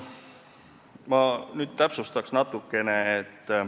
Ma nüüd täpsustan natukene.